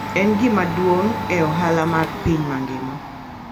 En gima duong' e ohala mar piny mangima.